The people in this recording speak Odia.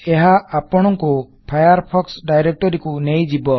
ଏହା ଅପଣକୁ ଫାୟାରଫୋକ୍ସ ଡାଇରେକ୍ଟରୀ କୁ ନେଇ ଯିବ